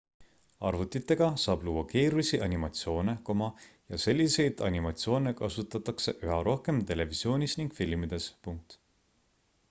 arvutitega saab luua keerulisi animatsioone ja selliseid animatsioone kasutatakse üha rohkem televisioonis ning filmides